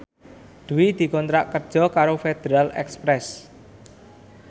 Dwi dikontrak kerja karo Federal Express